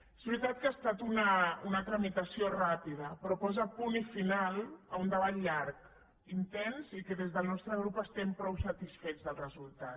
és veritat que ha estat una tramitació ràpida però posa punt final a un debat llarg intens i que des del nostre grup estem prou satisfets del resultat